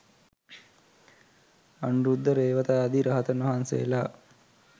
අනුරුද්ධ, රේවත ආදී රහතන් වහන්සේලා